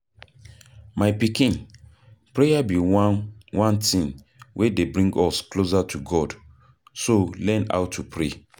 My pikin prayer be one one thing wey dey bring us closer to God. So learn how to pray.